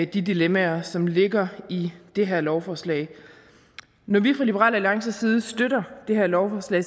de dilemmaer som ligger i det her lovforslag når vi fra liberal alliances side støtter det her lovforslag